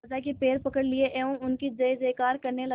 राजा के पैर पकड़ लिए एवं उनकी जय जयकार करने लगा